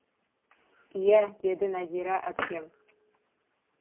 иә деді нәзира әпкем